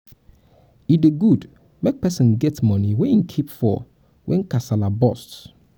e dey good make person get money wey im keep for when kasala burst